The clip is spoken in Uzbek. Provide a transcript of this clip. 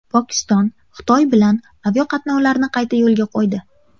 Pokiston Xitoy bilan aviaqatnovlarni qayta yo‘lga qo‘ydi.